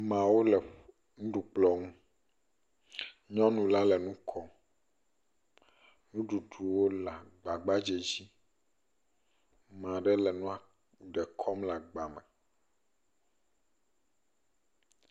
Ameawo le nuɖukplɔ nu. Nyɔnu la le nu kom. Nuɖuɖuwo le agba gbadzɛ dzi. Ame ɖe le nua ɖe kɔm le agba me.